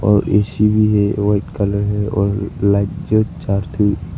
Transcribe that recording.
और एसी भी है व्हाइट कलर है और लाइट चार थी।